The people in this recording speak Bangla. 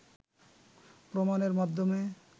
প্রমাণের মাধ্যমে